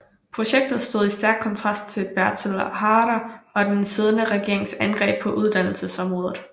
Projektet stod i stærk kontrast til Bertel Haarder og den siddende regerings angreb på uddannelsesområdet